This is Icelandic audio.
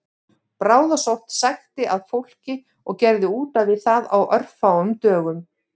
Bráðasótt sækti að fólki og gerði útaf við það á örfáum dögum